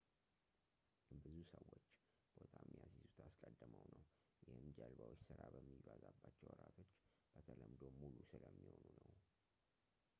ብዙ ሰዎች ቦታ የሚያስይዙት አስቀድመው ነው ይህም ጀልባዎች ስራ በሚበዛባቸው ወራቶች በተለምዶ ሙሉ ስለሚሆኑ ነው